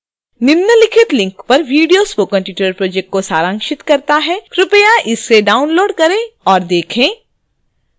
निम्नलिखित link पर video spoken tutorial project को सारांशित करता है कृपया इसे download करें और देखें